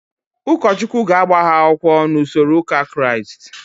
Ụkọchukwu ga-agba ha akwụkwọ n'usoro ụka Kraịst.